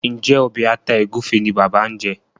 Njé Obe atá egufe ní bàbá ñ jé?